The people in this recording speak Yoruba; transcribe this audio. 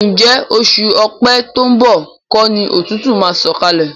Ǹjẹ́ oṣù Ọ̀pẹ to ń bọ̀ kọ́ ni òtútù máa ń sọ̀kalẹ̀?